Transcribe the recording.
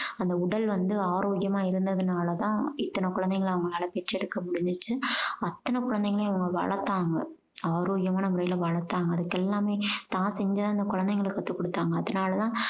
அந்த உடல் வந்து ஆரோக்கியமாக இருந்ததுனால தான் இத்தனை குழந்தைகள அவங்களால பெற்றெடுக்க முடிஞ்சுச்சு அத்தனை குழந்தைகளையும் அவங்க வளத்தாங்க ஆரோக்கியமான முறையில வளர்த்தாங்க அதுக்கெல்லாமே தான் செஞ்சத அந்த குழந்தைகளுக்கு கத்துக் குடுத்தாங்க அதுனாலதான்